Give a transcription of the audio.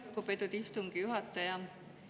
Aitäh, lugupeetud istungi juhataja!